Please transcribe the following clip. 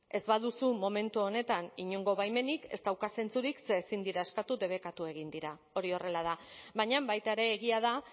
ez baduzu momentu honetan inongo baimenik ez dauka zentzurik ze ezin dira eskatu debekatu egin dira hori horrela da baina baita ere egia da